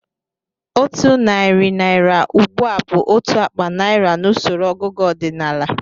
Otu narị naira ugbu a bụ otu akpa naira n'usoro ọgụgụ ọdịnala